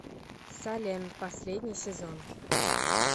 салем последний сезон